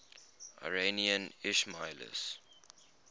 iranian ismailis